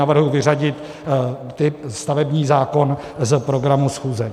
Navrhuji vyřadit bod stavební zákon z programu schůze.